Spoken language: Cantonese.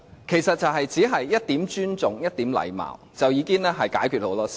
其實，只需要一點尊重、一點禮貌，已經可以解決很多問題。